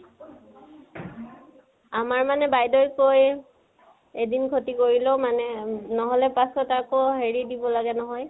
আমাৰ মানে বাইদেউৱে কয়, এদিন খতি কৰিলেও, নহলে পাছত আকৌ হেৰি দিব লাগে নহয়